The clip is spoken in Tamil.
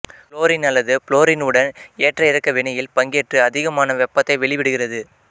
குளோரின் அல்லது புளோரின் உடன் ஏற்ற இறக்க வினையில் பங்கேற்று அதிகமான வெப்பத்தை வெளிவிடுகிறது